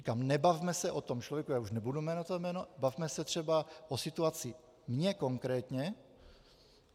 Říkám, nebavme se o tom člověku, já už nebudu jmenovat to jméno, bavme se třeba o situaci mě konkrétně.